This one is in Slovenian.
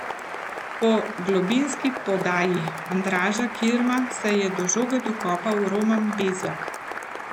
Po globinski podaji Andraža Kirma se je do žoge dokopal Roman Bezjak.